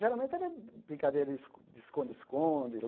Geralmente era brincadeira escon de esconde-esconde.